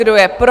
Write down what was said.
Kdo je pro?